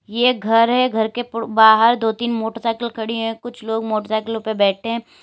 ये घर है घर के बड़ बाहर दो तीन मोटरसाइकिल खड़ी हैं कुछ लोग मोटरसाइकिलों पे बैठे हैं।